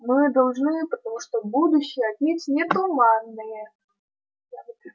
мы должны потому что это будущее отнюдь не туманное